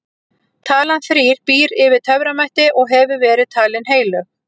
talan þrír býr yfir töframætti og hefur verið talin heilög